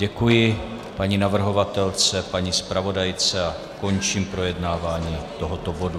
Děkuji paní navrhovatelce, paní zpravodajce a končím projednávání tohoto bodu.